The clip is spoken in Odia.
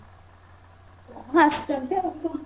ହଁ ଆସିଛନ୍ତି ଆଉ କଣ?